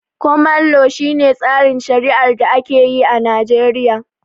Koman lo, shi ne tsarin shari'ar da ake yi a Najeriya